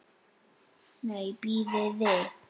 Nei, bíðið.